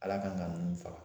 Ala kan ka nunnu faga